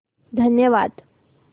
धन्यवाद